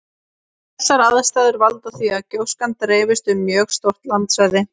Þessar aðstæður valda því að gjóskan dreifist um mjög stórt landsvæði.